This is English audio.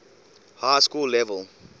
high school level